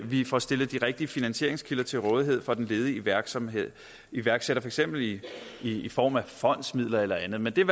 vi får stillet de rigtige finansieringskilder til rådighed for den ledige iværksætter iværksætter for eksempel i i form af fondsmidler eller andet men det er